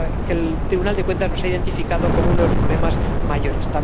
el Tribunal de Cuentas ha identificado como uno de los problemas mayores.